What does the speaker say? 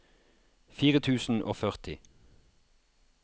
fire tusen og førti